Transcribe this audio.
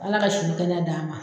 Ala ka si ni kɛnɛya d'an ma